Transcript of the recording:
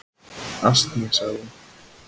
"""Asni, sagði hún."""